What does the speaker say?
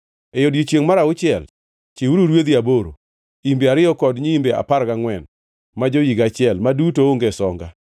“ ‘E odiechiengʼ mar auchiel chiwuru rwedhi aboro, imbe ariyo kod nyiimbe apar gangʼwen ma jo-higa achiel, ma duto onge songa.